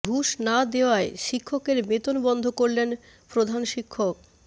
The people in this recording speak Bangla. ঘুষ না দেওয়ায় শিক্ষকের বেতন বন্ধ করলেন প্রধান শিক্ষক